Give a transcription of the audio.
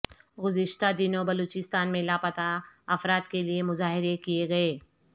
گذشتہ دنوں بلوچستان میں لاپتہ افراد کے لیے مظاہرے کیے گئے